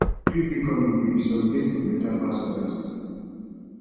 grief fit come in waves some days go dey better pass odas